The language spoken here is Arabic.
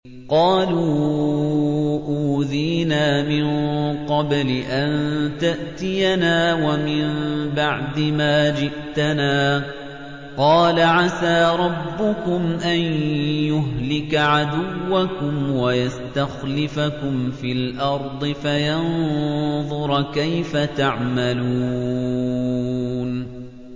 قَالُوا أُوذِينَا مِن قَبْلِ أَن تَأْتِيَنَا وَمِن بَعْدِ مَا جِئْتَنَا ۚ قَالَ عَسَىٰ رَبُّكُمْ أَن يُهْلِكَ عَدُوَّكُمْ وَيَسْتَخْلِفَكُمْ فِي الْأَرْضِ فَيَنظُرَ كَيْفَ تَعْمَلُونَ